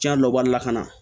Cɛn dɔ b'a la ka na